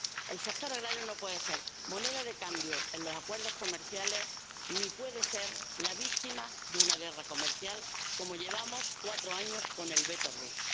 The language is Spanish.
El sector agrario no puede ser moneda de cambio en los acuerdos comerciales, ni puede ser la víctima de una guerra comercial, como los cuatro años que llevamos con el veto ruso.